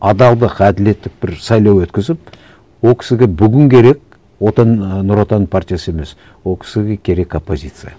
адалдық әділеттік бір сайлау өткізіп ол кісіге бүгін керек нұр отан партиясы емес ол кісіге керек оппозиция